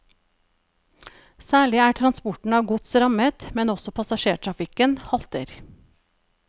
Særlig er transporten av gods rammet, men også passasjertrafikken halter.